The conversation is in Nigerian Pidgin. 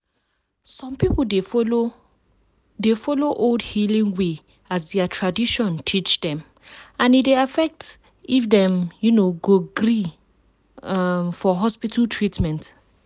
some people dey follow dey follow old healing way as their religion teach dem and e dey affect if dem um go gree um for hospital treatment.